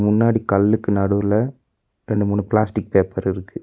முன்னாடி கல்லுக்கு நடுவுல ரெண்டு மூணு பிளாஸ்டிக் பேப்பர் இருக்கு.